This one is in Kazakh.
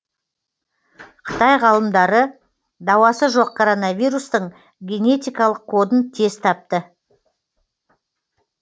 қытай ғалымдары дауасы жоқ короновирустың генетикалық кодын тез тапты